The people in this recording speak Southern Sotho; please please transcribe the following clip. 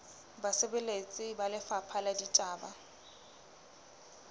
basebeletsi ba lefapha la ditaba